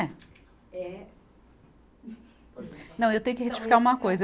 É. Não, eu tenho que retificar uma coisa.